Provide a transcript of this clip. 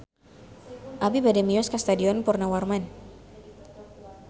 Abi bade mios ka Stadion Purnawarman